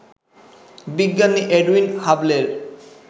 বিজ্ঞানী এডুইন হাবলের